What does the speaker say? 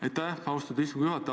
Aitäh, austatud istungi juhataja!